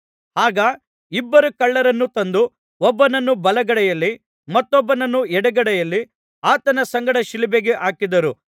ಆಗ ಇಬ್ಬರು ಕಳ್ಳರನ್ನು ತಂದು ಒಬ್ಬನನ್ನು ಬಲಗಡೆಯಲ್ಲಿ ಮತ್ತೊಬ್ಬನನ್ನು ಎಡಗಡೆಯಲ್ಲಿ ಆತನ ಸಂಗಡ ಶಿಲುಬೆಗೆ ಹಾಕಿದರು